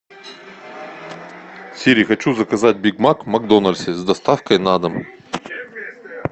сири хочу заказать биг мак в макдональдсе с доставкой на дом